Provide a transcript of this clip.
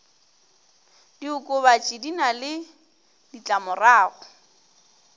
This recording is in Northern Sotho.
diokobatši di na le ditlamorago